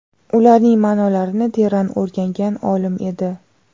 ularning ma’nolarini teran o‘rgangan olim edi.